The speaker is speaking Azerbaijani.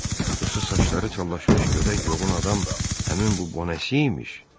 Yoxsa saçları çallaşmış, gödək yuğun adam həmin bu Bonasimiymiş?